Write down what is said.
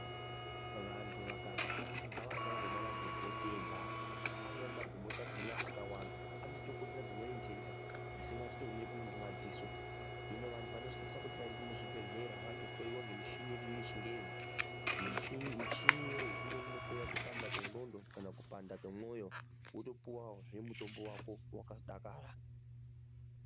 Vantu vakarwara ngavasangomwa magomboti ega ,amweni magomboti akona akawanzwa anozotokonzera dzimweni nhenda dzisingazotoonekwi ngemadziso hino vantu vanosise kuti vaende muzvibhehleya vandohloyiwa ngemichini yedu yechingezi michini iyoyo imweni inohloya kupanda kwenxlondo kana kupanda kwemoyo wotopuwazve mutombo wako wakadakara.